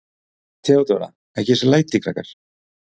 THEODÓRA: Ekki þessi læti, krakkar.